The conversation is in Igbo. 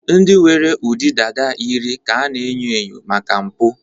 ndị nwere ụdị dada yiri ka a na-enyo enyo maka mpụ